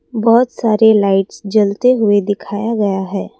बहुत सारे लाइट्स जलते हुए दिखाया गया है।